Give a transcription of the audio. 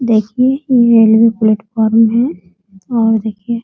देखिये ये railway platform है और देखिये --